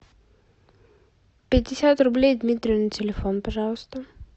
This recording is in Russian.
пятьдесят рублей дмитрию на телефон пожалуйста